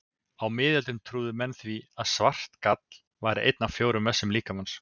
Á miðöldum trúðu menn því að svart gall væri einn af fjórum vessum líkamans.